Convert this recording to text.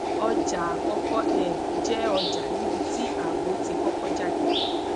ọja akọkọ um jẹ ọja nibiti aabo ti kọkọ jade